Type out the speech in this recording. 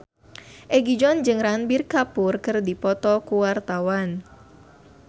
Egi John jeung Ranbir Kapoor keur dipoto ku wartawan